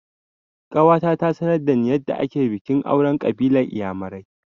Ƙawata ta sanar da ni yadda ake bikin auren ƙabilar inyamurai